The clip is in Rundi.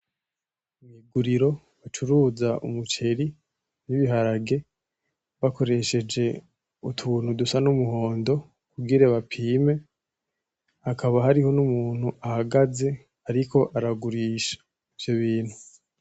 N'iguriro icuruza umuceri n'ibiharage bakoresheje utuntu dusa n'umuhondo kugira bapime. Hakaba hariho n'umuntu ahagaze ariko aragurisha ivyo bintu.